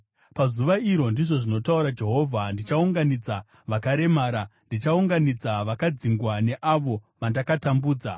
“Pazuva iro,” ndizvo zvinotaura Jehovha, “Ndichaunganidza vakaremara; ndichaunganidza vakadzingwa neavo vandakatambudza.